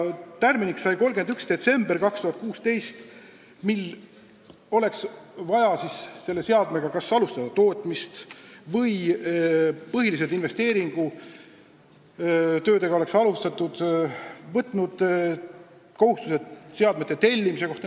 Tähtajaks sai 31. detsember 2016 – selleks ajaks pidi teatud seadmega kas alustama tootmist või alustama põhilisi investeeringutega tehtavaid töid või siis võtma kohustuse seadmete tellimise kohta.